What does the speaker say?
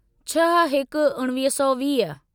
छह हिकु उणिवीह सौ वीह